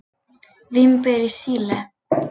Vínber í Síle.